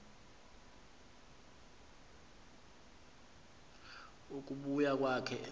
ukubuya kwakhe emse